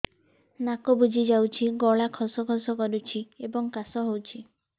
ନାକ ବୁଜି ଯାଉଛି ଗଳା ଖସ ଖସ କରୁଛି ଏବଂ କାଶ ହେଉଛି